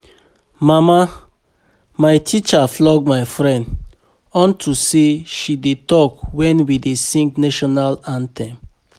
Mama, my teacher flog my friend unto say she dey talk wen we dey sing national anthem